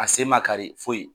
A sen man kari foyi.